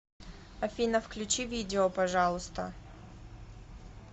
афина включи видео пожалуйста